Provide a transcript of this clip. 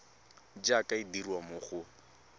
jaaka e dirwa mo go